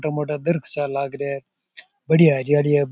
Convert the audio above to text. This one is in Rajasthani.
मोटा मोटा धरख सा लाग रहा है बड़ियां हरियली है।